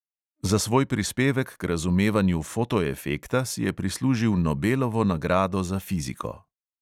Za svoj prispevek k razumevanju fotoefekta si je prislužil nobelovo nagrado za fiziko.